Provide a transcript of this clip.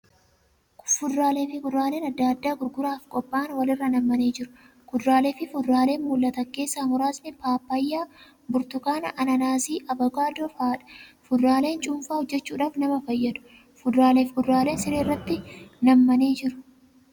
Fuduraalee fi kuduraaleen adda addaa gurguraaf qophaa'an wal irra nammanii jiru. Kuduraalee fuduraalee mul'atan keessaa muraasni paappaayya, burtukaana, anaanas fi avookaadoo fa'adha. Fuduraaleen cuunfaa hojjachuudhaaf nama fayyadu. Fuduraalee fi kuduraaleen siree irratti nammanii jiru.